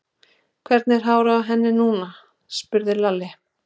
Hvernig er hárið á henni núna? spurði Lalli.